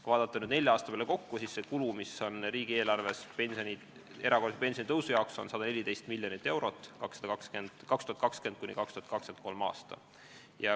Kui vaadata nelja aasta peale kokku, siis see kulu, mis on riigieelarves erakorralise pensionitõusu jaoks ette nähtud, on 114 miljonit eurot 2020.–2023. aastal.